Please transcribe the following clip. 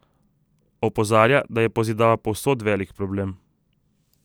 Opozarja, da je pozidava povsod velik problem.